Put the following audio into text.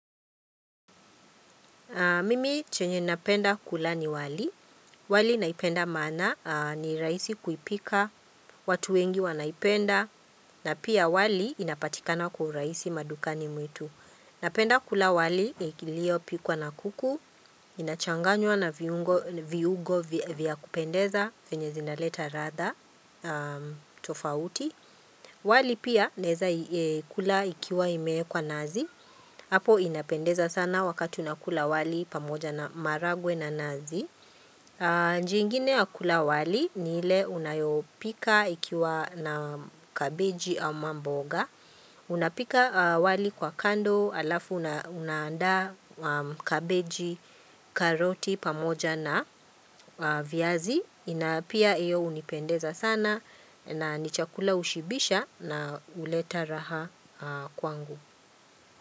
Mimi chenye napenda kula ni wali, wali naipenda maana ni rahisi kuipika, watu wengi wanaipenda, na pia wali inapatikana kwa urahisi madukani mwetu. Napenda kula wali iliopikwa na kuku, inachanganywa na viugo vya kupendeza, venye zinaleta ladha, tofauti. Wali pia naeza kula ikiwa imeekwa nazi. Apo inapendeza sana wakati unakula wali pamoja na maharagwe na nazi. Njia ingine ya kula wali ni ile unayopika ikiwa na cabbage ama mboga. Unapika wali kwa kando alafu na unaanda kabeji karoti pamoja na viazi. Na pia iyo unipendeza sana na nichakula ushibisha na uleta raha kwangu.